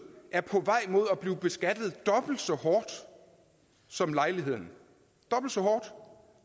er på vej mod at blive beskattet dobbelt så hårdt som lejligheden dobbelt så hårdt